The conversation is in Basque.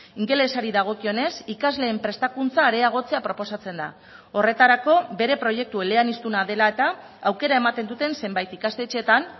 ingelesari dagokionez ikasleen prestakuntza areagotzea proposatzen da horretarako bere proiektu eleaniztuna dela eta aukera ematen duten zenbait ikastetxeetan